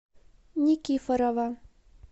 никифорова